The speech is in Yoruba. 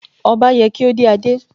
Ọba ye kí ó dé adé.